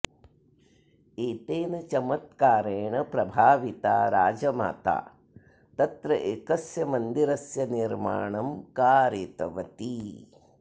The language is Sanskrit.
एतेन चमत्कारेण प्रभाविता राजमाता तत्र एकस्य मन्दिरस्य निर्माणं कारितवती